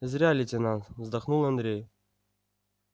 зря лейтенант вздохнул андрей